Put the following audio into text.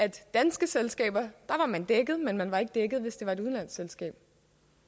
et dansk selskab var man dækket men man var ikke dækket hvis det var et udenlandsk selskab